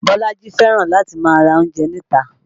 Bolaji fẹ́ràn láti máa ra oúnjẹ níta